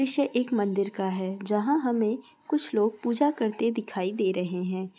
दृश्य एक मंदिर का है जहां हमें कुछ लोग पूजा करते दिखाई दे रहे हैं।